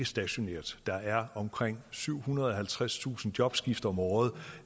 stationært der er omkring syvhundrede og halvtredstusind jobskift om året